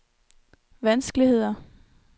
vanskeligheder